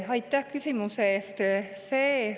Jah, aitäh küsimuse eest!